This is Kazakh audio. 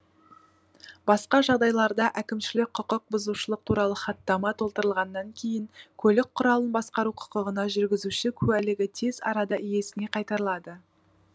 басқа жағдайларда әкімшілік құқық бұзушылық туралы хаттама толтырылғаннан кейін көлік құралын басқару құқығына жүргізуші куәлігі тез арада иесіне қайтарылады